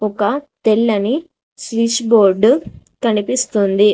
ఒక తెల్లని switch board కనిపిస్తుంది.